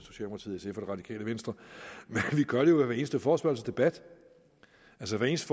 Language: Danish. det radikale venstre for vi gør det jo ved hver eneste forespørgselsdebat altså hver eneste